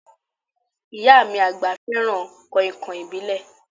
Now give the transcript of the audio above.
Ìyá mí agba fẹràn kàìnkàìn ìbílẹ̀.